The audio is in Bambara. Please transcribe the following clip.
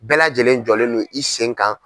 Bɛɛ lajɛlen jɔlen no i sen kan.